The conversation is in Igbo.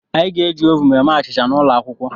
Anyị ga-eji ovun eme achịcha n'ụlọ akwụkwọ.